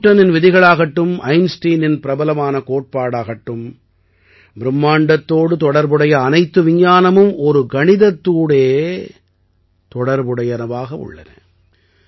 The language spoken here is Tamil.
நியூட்டனின் விதிகளாகட்டும் ஐன்ஸ்டீனின் பிரபலமான கோட்பாடாகட்டும் பிரும்மாண்டத்தோடு தொடர்புடைய அனைத்து விஞ்ஞானமும் ஒரு கணிதத்தோடே தொடர்புடையனவாக உள்ளன